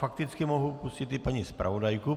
Fakticky mohu pustit i paní zpravodajku.